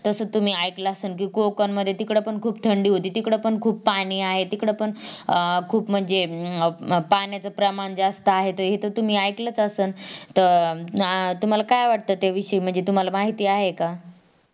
तसच तुम्ही ऐकलं असाल कि कोंकणमध्ये तिकडं पण खूप थंडी होती तिकडं पण खूप पाणी आहे तिकडं पण अं खूप म्हणजे अह पाण्याचं प्रमाण खूप जास्त आहे हे तर तुम्ही ऐकलंत असल